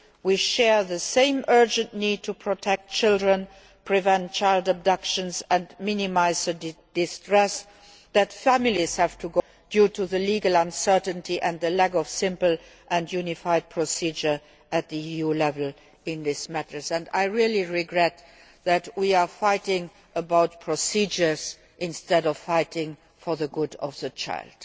We share the same urgent need to protect children, prevent child abductions and minimise the distress that families suffer due to the legal uncertainty and the lack of a simple and unified procedure at EU level in this matter. I really regret that we are fighting about procedures instead of fighting for the good of the child.